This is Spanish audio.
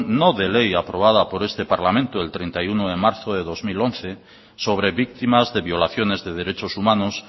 no de ley aprobada por este parlamento el treinta y uno de marzo de dos mil once sobre víctimas de violaciones de derechos humanos